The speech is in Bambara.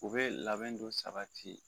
U bɛ labɛn do sabati